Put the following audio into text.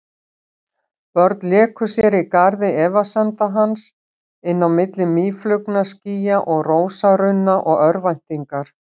Börn léku sér í garði efasemda hans, inn á milli mýflugnaskýja og rósarunna og örvæntingar.